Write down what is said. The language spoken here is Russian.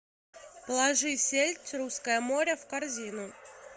положи сельдь русское море в корзину